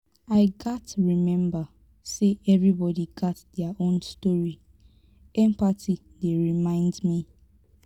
i gats remember say everybody gats their own story; empathy dey remind me.